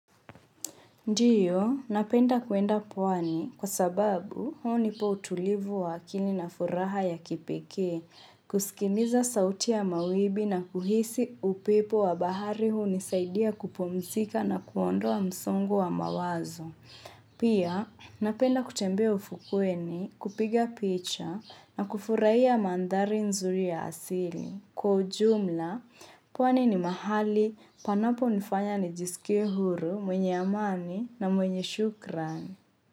Ndio, napenda kuenda pwani kwa sababu hunipa utulivu wa akili na furaha ya kipekee kusikiliza sauti ya mawimbi na kuhisi upepo wa bahari hunisaidia kupumzika na kuondoa msongo wa mawazo. Pia, napenda kutembea ufukweni kupiga picha na kufurahia mandhari nzuri ya asili. Kwa ujumla, pwani ni mahali panapo nifanya nijisikie huru mwenye amani na mwenye shukrani.